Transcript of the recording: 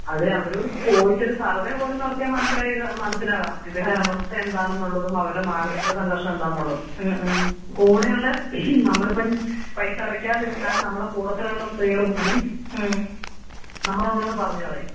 അതിനി അവരോട് ചോദിച്ച് സർവേ പോലും നടത്തിയ മനസ്സിലാകാം ഇതിന്റെ അവസ്ഥ എന്താന്നുള്ളതും അവരുടെ മാനസിക സംഘർഷം എന്തെന്നാള്ളുതും. കൂടെയുള്ള നമ്മളിപ്പം പൈസ അടക്കാതിരുന്നാൽ നമ്മുടെ കൂടെ തന്നെയുള്ള സ്ത്രീകൾ പോലും. നമ്മളെ ഓരോ പറഞ്ഞു കളയും.